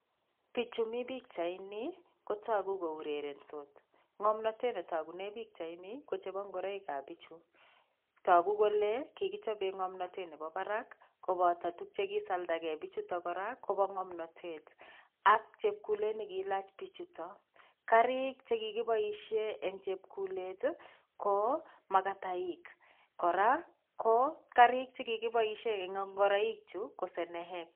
Pichu mi pikchaini kotoku ko urerensot, ngomnotet ne tokune pikchaini ko chebo ngoroikab pichu, toku kole kikichobe ngomnotet nebo barak koboto tuk che kisaldake pichuto kora koba ngomnotet ak chepkulet ne kilach pichuto. Karik che kikiboisie eng chepkulet ii ko makataik, kora ko karik che kikiboisie eng ngoroichu ko seneek.